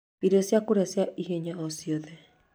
irio cia kũrĩa cia ihenya o cĩothe